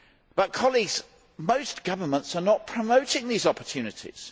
But most governments are not promoting these opportunities.